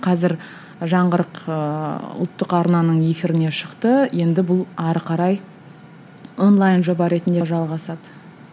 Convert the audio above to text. қазір жаңғырық ыыы ұлттық арнаның эфиріне шықты енді бұл ары қарай онлайн жоба ретінде жалғасады